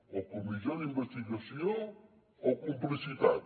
o comissió d’investigació o complicitat